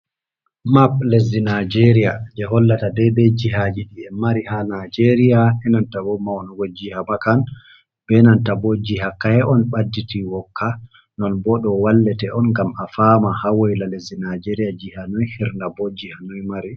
Mapp lesdi nijeria, je hollata dede jihaji ɗi en mari ha nijeria enantabo maunugo jiha makan benanta bo jiha kayiha on ɓadditi wokka, non bo ɗo wallete on gam a fama hawayla lesdi naijeriya jiha noi hirna bo jiha noi mari.